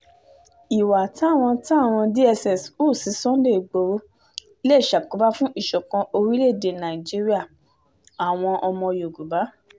ìwà táwọn táwọn dss hù sí sunday igboro lè ṣàkóbá fún ìṣọ̀kan orílẹ̀-èdè nàìjíríà-àwọn ọba yorùbá